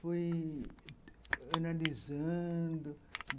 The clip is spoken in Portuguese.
Fui analisando.